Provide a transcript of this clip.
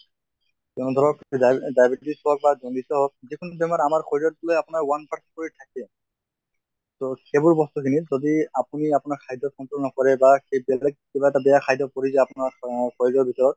তʼ ধৰক diabetes হওঁক বা jaundice য়ে হওঁক যিকোনো বেমাৰ আমাৰ শৰীৰ টোই আপোনাৰ one কৰি থাকে। তʼ সেইবোৰ বস্তুখিনিত যদি আপুনি আপোনাৰ খাদ্য় control নকৰে বা সেই বেলেগ কিবা এটা বেয়া খাদ্য় পৰি যে আপোনাৰ অহ শৰীৰৰ ভিতৰত